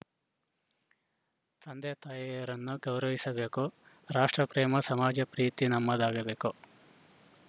ತಂದೆತಾಯಿರನ್ನು ಗೌರವಿಸಬೇಕು ರಾಷ್ಟ್ರಪ್ರೇಮ ಸಮಾಜ ಪ್ರೀತಿ ನಮ್ಮದಾಗಬೇಕು